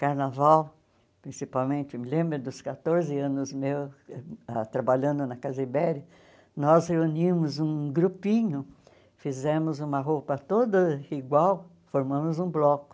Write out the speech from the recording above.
Carnaval, principalmente, me lembro dos quatorze anos meus ah trabalhando na Casa Ibéria, nós reunimos um grupinho, fizemos uma roupa toda igual, formamos um bloco.